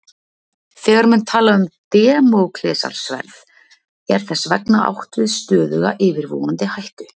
þegar menn tala um damóklesarsverð er þess vegna átt við stöðuga yfirvofandi hættu